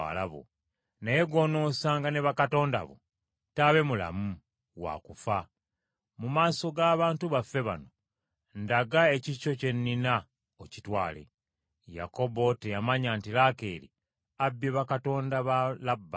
Naye gw’onoosanga ne bakatonda bo taabe mulamu; waakufa. Mu maaso ga bantu baffe bano, ndaga ekikyo kye nnina okitwale.” Yakobo teyamanya nti Laakeeri abbye bakatonda ba Labbaani.